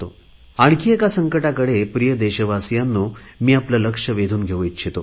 आणखी एका संकटाकडे प्रिय देशवासीयांनो आपले लक्ष वेधून घेऊ इच्छितो